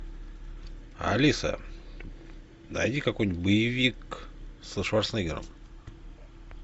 алиса найди какой нибудь боевик со шварценеггером